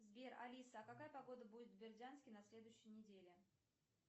сбер алиса а какая погода будет в бердянске на следующей неделе